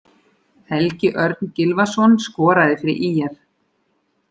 Helgi Örn Gylfason skoraði fyrir ÍR.